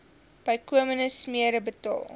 bykomende smere betaal